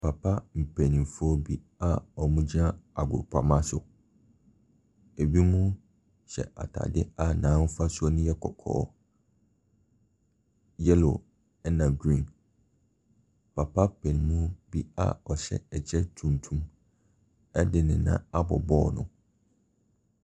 Papa mpanimfoɔ bi a wɔgyina agpoprama so, ɛbinom hyɛ atadeɛ a n'ahofasuo no yɛ kɔkɔɔ, yellow, ɛna green. Papa panin bi a ɔhyɛ ɛkyɛ tuntum de ne nan abɔ bɔɔlo no.